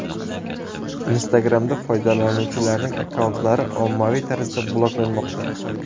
Instagram’da foydalanuvchilarning akkauntlari ommaviy tarzda bloklanmoqda.